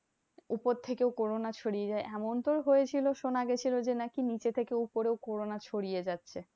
উপর থেকে ও corona ছড়িয়ে যায়। এমন তো হয়েছিল শোনা গেছিলো যে নাকি নিচে থেকে উপরেও corona ছড়িয়ে যাচ্ছে।